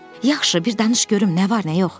Yaxşı, bir danış görüm nə var, nə yox?